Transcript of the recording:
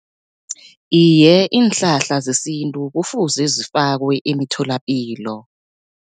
Iye, iinhlahla zesintu kufuze zifakwe emitholapilo.